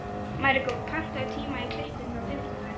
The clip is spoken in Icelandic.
Maríkó, pantaðu tíma í klippingu á fimmtudaginn.